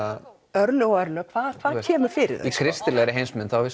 örlög og örlög hvað kemur fyrir í kristilegri heimsmynd